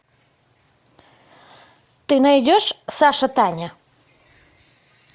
ты найдешь саша таня